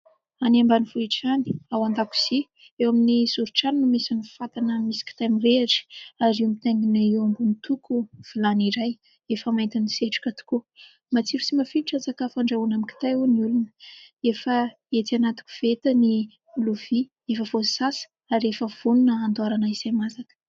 Any ambanivohitra any, ao an-dakozia eo amin'ny zorin-trano no misy ny fatana misy kitay mirehatra ary mitaingina eo ambony toko vilany iray efa maintin'ny setroka tokoa. Matsiro sy mafilotra ny sakafo andrahoina amin'ny kitay ho ny olona. Efa etsy anaty koveta ny lovia efa voasasa ary efa vonona handoarana izay masaka.